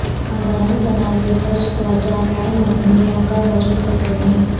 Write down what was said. خاندانی تنازعہ کا شکار جامعہ مدنیہ کا وجود خطرے میں